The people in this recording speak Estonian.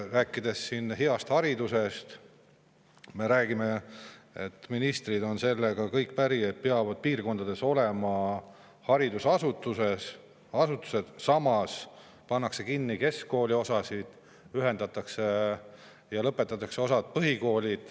Rääkides heast haridusest, räägitakse, et ministrid on sellega kõik päri, et piirkondades peavad olema haridusasutused, samas pannakse kinni keskkooliosasid, ühendatakse neid ja suletakse osa põhikoole.